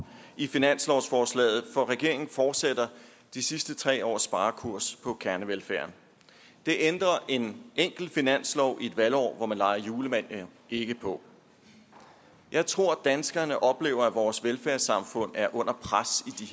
i finanslovsforslaget for regeringen fortsætter de sidste tre års sparekurs på kernevelfærden det ændrer en enkelt finanslov i et valgår hvor man leger julemand ikke på jeg tror danskerne oplever at vores velfærdssamfund er under pres